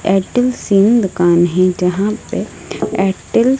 Airtel sim दुकान है जहां पे एयरटेल --